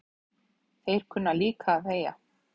Þeir kunna líka að þegja